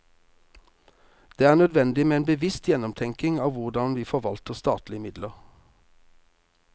Det er nødvendig med en bevisst gjennomtenkning av hvordan vi forvalter statlige midler.